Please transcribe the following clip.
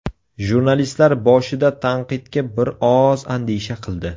Jurnalistlar boshida tanqidga bir oz andisha qildi.